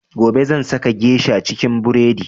Gobe zan saka geisha cikin buredi